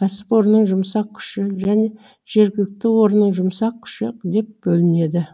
кәсіпорынның жұмсақ күші және жергілікті орынның жұмсақ күші деп бөлінеді